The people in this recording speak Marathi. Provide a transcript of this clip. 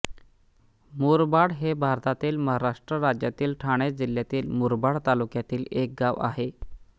मुरबाड हे भारतातील महाराष्ट्र राज्यातील ठाणे जिल्ह्यातील मुरबाड तालुक्यातील एक गाव आहे